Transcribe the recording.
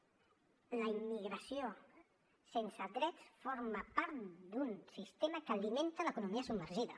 la immigració sense drets forma part d’un sistema que alimenta l’economia submergida